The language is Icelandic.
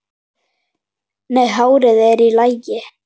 Nei, hárið er í lagi.